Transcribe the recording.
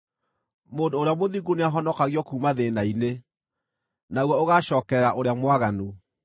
Mũndũ ũrĩa mũthingu nĩahonokagio kuuma thĩĩna-inĩ, naguo ũgaacookerera ũrĩa mwaganu.